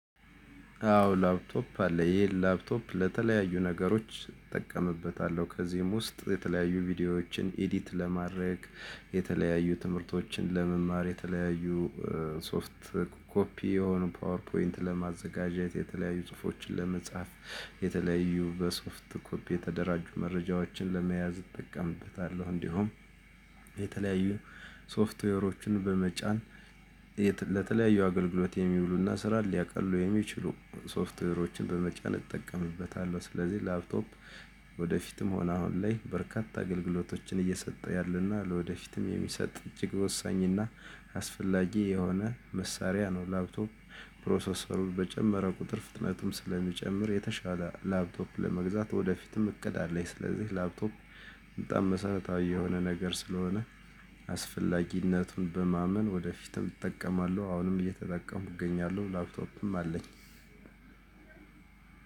አዎ ላፕቶፕ አለ ይሄ ላፕቶፕ ለተለያዩ ነገሮች እጠቀምበታለሁ ከዚህም ውስጥ የተለያዩ ቪዲዮዎችን ኢዲት ለማድረግ የተለያዩ ትምህርቶችን ለመማር የተለያዩ ሶፍት ኮፒ የሆኑ ፓወር ፖይንት ለማዘጋጀት የተለያዩ ጽሁፎችን ለመጻፍ የተለያዩ በሶፍት ኮፒ የተደራጁ መረጃዎችን ለመያዝ እጠቀምበታለሁ እንዲሁም የተለያዩ ሶፍትዌሮችን በመጫን ለተለያዩ አገልግሎት የሚውሉና ስራን ሊያቀሉ የሚችሉ ሶፍትዌሮችን በመጫን እጠቀምበታለሁ። ስለዚህ ላፕቶፕ ወደፊትም አሁን ላይ በርካታ አገልግሎቶችን እየሰጠ ያለና ለወደፊትም የሚሰጥ እጅግ ወሳኝና አስፈላጊ የሆነ መሳሪያ ነው። ላፕቶፕ ፕሮሰሰሩን በጨመረ ቁጥር ፍጥነቱም ስለሚጨምር የተሻለ ላፕቶፕ ለመግዛት ወደፊትም እቅድ አለኝ። ስለዚህ ላፕቶፕ በጣም መሰረታዊ የሆነ ነገር ስለሆነ አስፈላጊነቱን በማመን ወደፊትም እጠቀማለሁ አሁንም እየተጠቀሙ እገኛለሁ ላፕቶፕም አለኝ።